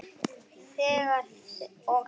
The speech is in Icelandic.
Þegir og þegir.